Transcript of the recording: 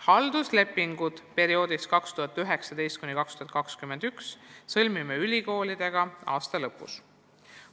Halduslepingud perioodiks 2019–2021 sõlmime ülikoolidega aasta lõpus.